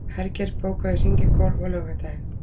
Hergeir, bókaðu hring í golf á laugardaginn.